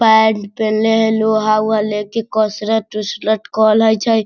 Pant पेहनले हई लोहा-उहा ले के कसरत-उसरत कल लय छै।